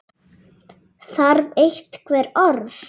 Þarf einhver orð?